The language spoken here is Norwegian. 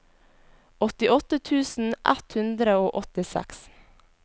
åttiåtte tusen ett hundre og åttiseks